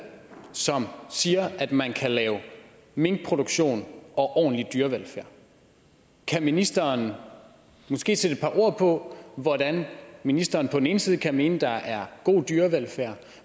som siger at man kan lave minkproduktion og ordentlig dyrevelfærd kan ministeren måske sætte et par ord på hvordan ministeren på den ene side kan mene at der er god dyrevelfærd